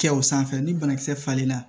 Kɛ o sanfɛ ni banakisɛ falenna